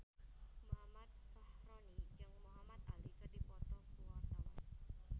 Muhammad Fachroni jeung Muhamad Ali keur dipoto ku wartawan